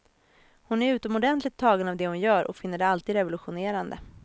Hon är utomordentligt tagen av det hon gör och finner det alltid revolutionerande.